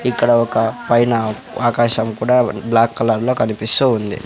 ఇక్కడ ఒక పైన ఆకాశం కూడా బ్లాక్ కలర్లో కనిపిస్తూ ఉంది.